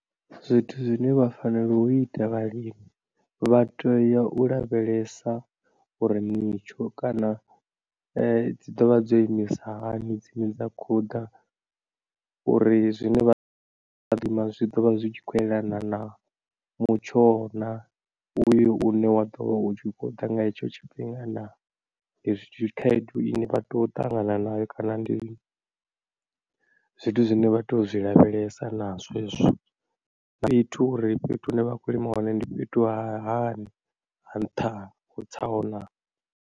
Zwithu zwine vha fanelo u ita vhalimi vha teya u lavhelesa uri mitsho kana dzi dovha dzo imisa hani dzine dza khoḓa uri zwine vha lima zwi ḓo vha zwi tshi khou yelana na mutsho naa uyo une wa ḓo vha u tshi khou ḓa nga hetsho tshifhinga naa, khaedu ine vha tea u ṱangana na nayo kana ndi zwithu zwine vha tea u zwi lavhelesa nazwo hezwo uri fhethu hu ne vha khou lima hone ndi fhethu ha hani ha nṱha, ho tsaho naa.